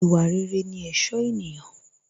Ìwà rere ní ẹ̀ṣọ́ ènìyàn